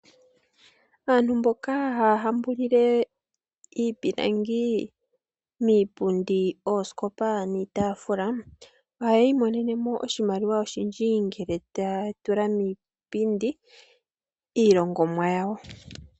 Aantu mboka haya hambulile iipilangi miipundi, oosikopa niitaafula ohaya imonene mo oshimaliwa oshindji ngele taya tula iihongomwa yawo miipindi.